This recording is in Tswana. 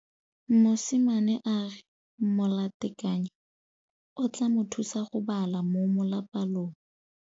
Mosimane a re molatekanyô o tla mo thusa go bala mo molapalong.